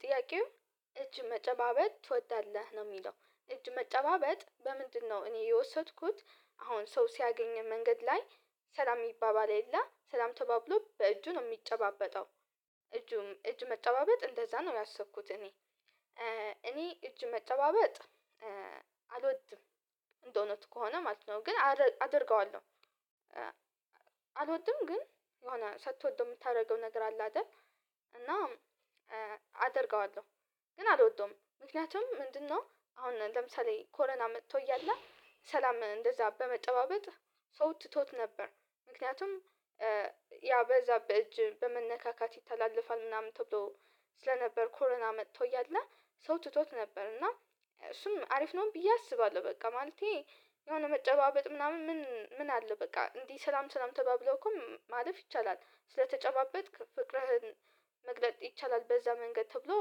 ጥያቄው እጅ መጨባበጥ ትወዳለህ ነው እሚለው እጅ መጨባበጥ በምንድነው? እኔ የወሰድኩት አሁን ሰው ሲያገኘን መንገድ ላይ ሰላም ይባባል የለ ሰላም ተባብሎ በእጁ ነው እሚጨባበጠው። እጁም እጅ መጨባበጥ እንደዛ ነው ያሰብኩት እኔ እኔ እጅ መጨባበጥ አልወድም። እንደ እውነቱ ከሆነ ማለት ነው ግን አደርገዋለሁ። አልወድም ግን የሆነ ሳትወደው እምታደርገው ነገር አለ አይደል። እና አደርገዋለሁ ግን አልወደውም ምክንያቱም ምንድነው? አሁን ለምሳሌ ኮረና መጥቶ እያለ ሰላም እንደዛ በመጨባበጥ ሰው ትቶት ነበር። ምክንያቱም ያ በዛ በእጅ በመነካካት ይታለፋል ምናምን ተብሎ ስለነበር ኮረና መጥቶ እያለ ሰው ትቶት ነበር እና እሱም አሪፍ ነው ብዬ አስባለሁ። በቃ ማለቴ የሆነ መጨባበጥ ምናምን ምን ምን አለ በቃ እንዲሁ ሰላም ሰላም ተባብሎ እኮም ማለፍ ይቻላል። ስለተጨባበጥክ ፍቅርህን መግለጥ ይቻላል በዛ መንገድ ተብሎ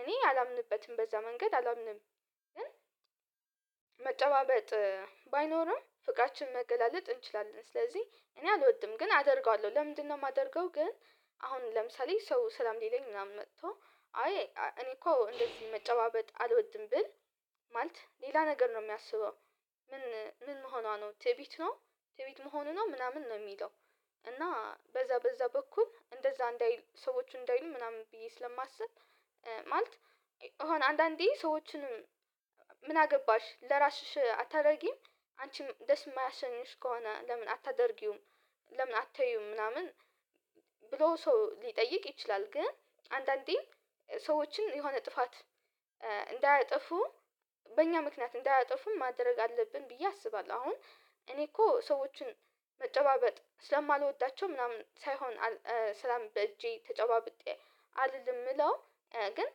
እኔ አላምንበትም በዛ መንገድ አላምንም። ግን መጨባበጥ ባይኖርም ፍቅራችን መገላለጥ እንችላለን ስለዚህ እኔ አልወድም ግን አደርገዋለሁ። ለምንድነው? የማደርገው ግን አሁን ለምሳሌ ሰው ሰላም ሊለኝ ምናምን መጥቶ አይ እኔ እኮ እንደዚህ መጨባበጥ አልወድም ብል ማለት ሌላ ነገር ነው እሚያስበው ምን ምን መሆኗ ነው ትዕቢት ነው። ትዕቢት መሆኑ ነው ምናምን ነው እሚለው። እና በዛ በዛ በኩል እንደዛ እንዳይሉ ሰዎች እንዳይሉኝ ምናምን ብዬ ስለማስብ ማለት አንዳንዴ ሰዎችንም ምን አገባሽ ለራስሽ አታደርጊም አንቺም ደስ እማያሰኝሽ ከሆነ ለምን አታደርጊውም? ለምን አታይውም? ምናምን ብሎ ሰው ሊጠይቅ ይችላል ግን አንዳንዴም ሰዎችን የሆነ ጥፋት እንዳያጠፉ በእኛ ምክንያት እንዳያጠፉም ማድረግ አለብን ብዬ አስባለሁ። አሁን እኔ እኮ ሰዎችን መጨባበጥ ስለማልወዳቸው ምናምን ሳይሆን ሰላም በእጄ ተጨባብጬ አልልም እምለው ግን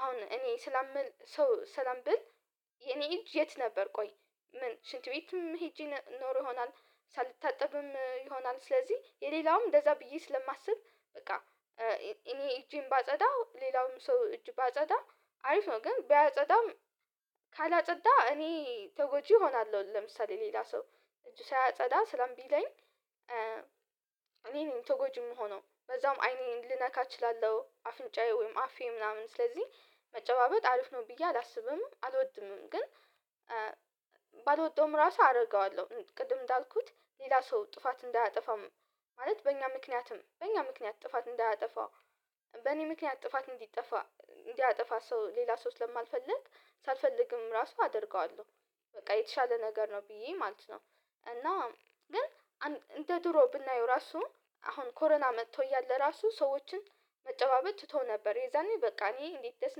አሁን እኔ ስለምል ሰው ሰላም ብል። የእኔ እጅ የት ነበር ቆይ ምን ሽንት ቤትም ሄጄ ኖሮ ይሆናል ሳልታጠብም ይሆናል ስለዚህ የሌላውም እንደዛ ብዬ ስለማስብ በቃ። እኔ እጄን ባጸዳው ሌላውም ሰው እጅ ባጸዳ አሪፍ ነው ግን ባያጸዳም ካላጸዳ እኔ ተጎጂ እሆናለሁ። ለምሳሌ ሌላ ሰው እጅ ሳያጸዳ ሰላም ቢለኝ እኔ ነኝ ተጎጂ እምሆኖ በዛውም አይኔን ልነካ እችላለሁ። አፍንጫዬ ወይም አፌን ምናምን ስለዚህ መጨባበጥ አረመፍ ነው ብዬ አላስብምም አልወድምም። ግን ባልወደውም ራሱ አደረገዋለሁ ቅድም እንዳልኩት ሌላ ሰው ጥፋት እንዳያጠፋም ማለት በእኛ ምክንያትም በእኛ ምክንያት ጥፋት እንዳያጠፋ በእኔ ምክንያት ጥፋት እንዲጠፋ እንዲያጠፋ ሰው ሌላ ሰው ስለማልፈልግ ሳልፈልግም ራሱ አደርገዋለሁ። በቃ የተሻለ ነገር ነው ብዬ ማለት ነው። እና ግን እንደ ድሮ ብናየው ራሱ አሁን ኮረና መጥቶ እያለ ራሱ ሰዎችን መጨባበት ትተው ነበር የዛኔ በቃ እኔ እንዴት ደስ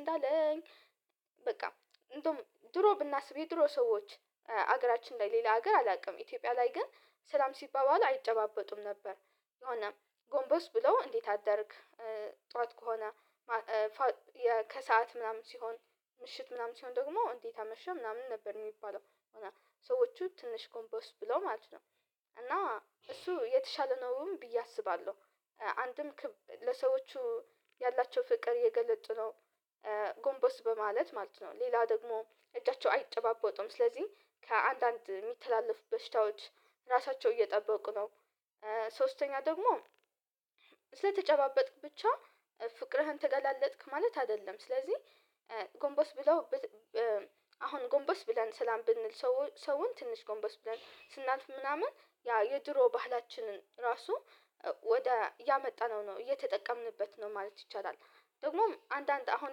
እንዳለኝ። በቃ ድሮ ብናስብ የድሮ ሰዎች ሀገራችን ላይ ሌላ ሀገር አላውቅም ኢትዮጵያ ላይ ግን ሰላም ሲባባል አይጨባበጡም ነበር። የሆነ ጎንበስ ብለው እንዴት አደርክ ጥዋት ከሆነ ከሰአት ምናምን ሲሆን ምሽት ምናምን ሲሆን ደግሞ እንዴት አመሸ ምናምን ነበር። እሚባለው እና ሰዎቹ ትንሽ ጎምበስ ብለው ማለት ነው እና እሱ የተሻለ ነውም ብዬ አስባለሁ። አንድም ለሰዎቹ ያላቸው ፍቅር እየገለጡ ነው ጎንበስ በማለት ማለት ነው ሌላ ደግሞ እጃቸው አይጠባበጡም ስለዚህ ከአንዳንድ እሚተላለፉ በሽታዎች ራሳቸው እየጠበቁ ነው። ሶስተኛ ደግሞ ስለተጨባበጥክ ብቻ ፍቅርህን ተገላለጥክ ማለት አይደለም። ስለዚህ ጎንበስ ብለው አሁን ጎንበስ ብለን ሰላም ብንል ሰው ሰውን ትንሽ ጎንበስ ብለን ስናልፍ ምናምን ያ የድሮ ባህላችንን ራሱ ወደ ያመጣነው ነው እየተጠቀምንበት ነው ማለት ይቻላል። ደግሞም አንዳንድ አሁን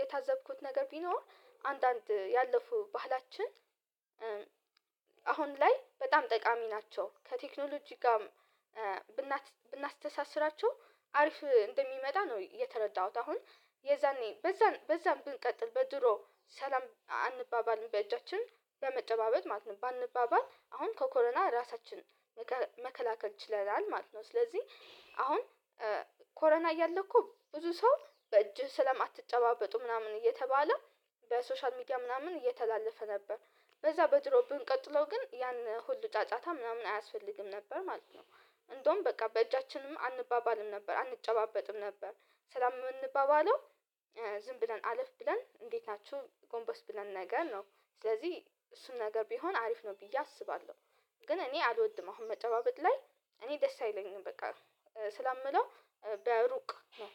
የታዘብኩት ነገር ቢኖር አንዳንድ ያለፉ ባህላችን አሁን ላይ በጣም ጠቃሚ ናቸው ከቴክኖሎጂ ጋም ብናስተሳስራቸው አሪፍ እንደሚመጣ ነው የተረዳሁት። አሁን የዛኔ በዛን በዛን ብንቀጥል በድሮ ሰላም አንባባልም በእጃችን ለመጨባበጥ ማለት ነው ባንባባል አሁን ከኮረና ራሳችን መከላከል ይችላል ማለት ነው። ስለዚህ አሁን ኮረና እያለ እኮ ብዙ ሰው በእጅህ ስለማትጨባበጡ ምናምን እየተባለ በሶሻል ሚዲያ ምናምን እየተላለፈ ነበር። በዛ በድሮው ብንቀጥለው ግን ያነ ሁሉ ጫጫታ ምናምን አያስፈልግም ነበር ማለት ነው። እንደውም በቃ በእጃችንም አንባባልም ነበር አንጨባበጥም ነበር። ሰላም ምንባባለው ዝም ብለን አለፍ ብለን እንዴት ናችሁ ጎንበስ ብለን ነገር ነው ስለዚህ እሱን ነገር ቢሆን አሪፍ ነው ብዬ አስባለሁ። ግን እኔ አልወድም አሁን መጨባበጥ ላይ እኔ ደስ አይለኝም። በቃ ሰላም እምለው በሩቅ ነው።